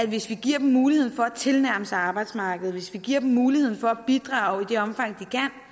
hvis vi giver dem muligheden for at tilnærme sig arbejdsmarkedet hvis vi giver dem muligheden for at bidrage i det omfang